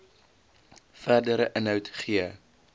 verdere inhoud gee